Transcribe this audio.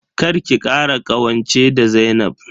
Kar ki kara ƙawance da Zainab.